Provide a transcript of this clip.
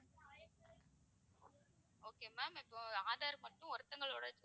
okay ma'am இப்போ ஆதார் வந்து ஒருத்தவங்களோடது